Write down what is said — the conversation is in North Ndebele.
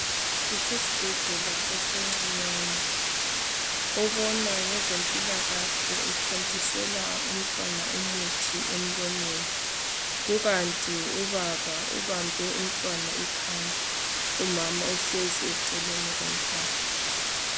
Kusesibhedlela esincinyane obona ngeze mpilakahle uthontisela umntwana umuthi emlonyeni kukant ubaba ubambe umntwana ikhanda umama uhlezi eceleni lomntwana